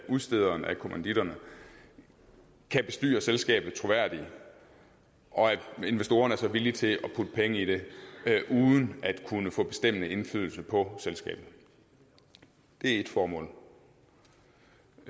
udstederen af kommanditterne kan bestyre selskabet troværdigt og investorerne er så villige til at putte penge i det uden at kunne få bestemmende indflydelse på selskabet det er ét formål